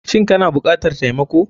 Shin kana bukatar taimako.